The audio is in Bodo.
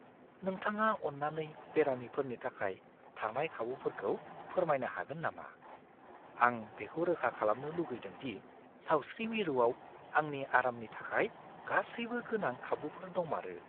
नोंथाङा अन्नानै बेरामिफोरनि थाखाय थानाय खाबुफोरखौ फोरमायनो हागोन नामा? आं बेखौ रोखा खालामनो लुगैदों दि सावस्रि मिरुआव आंनि आरामनि थाखाय गासैबो गोनां खाबुफोर दंमारो।